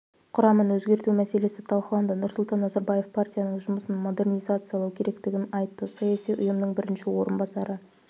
құрамын өзгерту мәселесі талқыланды нұрсұлтан назарбаев партияның жұмысын модернизациялау керектігін айтты саяси ұйымның бірінші орынбасары